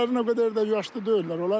Bunların o qədər də yaşlı deyillər.